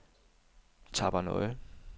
Tappernøje